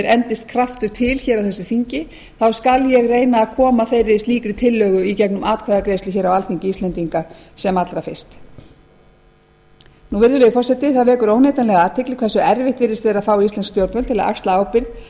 endist kraftur til hér á þessu þingi skal ég reyna að koma slíkri tillögu í gegnum atkvæðagreiðslu hér á alþingi íslendinga sem allra fyrst virðulegi forseti það vekur óneitanlega athygli hversu erfitt virðist vera að fá íslensk stjórnvöld til að axla ábyrgð